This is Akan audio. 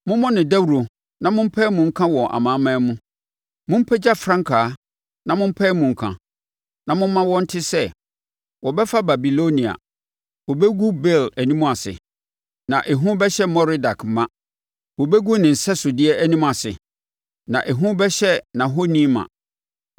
“Mommɔ no dawuro na mompae mu nka wɔ amanaman mu. Mompagya frankaa na mompae mu nka; na momma wɔnte sɛ, ‘Wɔbɛfa Babilonia; wɔbɛgu Bel anim ase, na ehu bɛhyɛ Merodak ma. Wɔbɛgu ne nsɛsodeɛ anim ase na ehu bɛhyɛ nʼahoni ma.’